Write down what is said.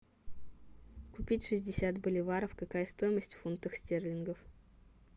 купить шестьдесят боливаров какая стоимость в фунтах стерлингов